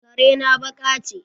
Kare na baka ce.